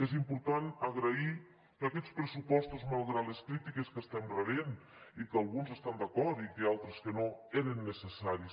és important agrair que aquests pressupostos malgrat les crítiques que estem rebent i que alguns hi estan d’acord i altres que no eren necessaris